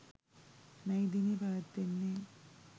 මැයි දිනය පැවැත්වෙන්නේ